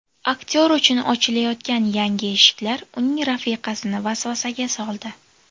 Aktyor uchun ochilayotgan yangi eshiklar uning rafiqasini vasvasaga soldi.